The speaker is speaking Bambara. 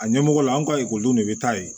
A ɲɛmɔgɔla an ka ekɔlidenw de bɛ taa yen